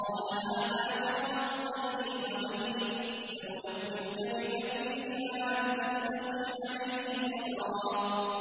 قَالَ هَٰذَا فِرَاقُ بَيْنِي وَبَيْنِكَ ۚ سَأُنَبِّئُكَ بِتَأْوِيلِ مَا لَمْ تَسْتَطِع عَّلَيْهِ صَبْرًا